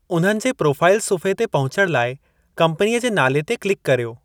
उन्हनि जे प्रोफ़ाइल सुफ़्हे ते पहुचण लाइ कम्पनी जे नाले ते क्लिक करियो।